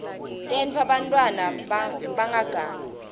tenta bantfwana bangagangi